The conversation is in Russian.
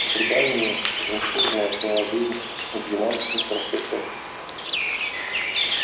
по преданию жемчужина отняла жизнь у девятнадцати простецов